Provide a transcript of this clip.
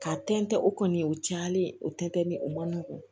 Ka tɛntɛn o kɔni o cayalen o tɛnɛntɛ ni o man nɔgɔn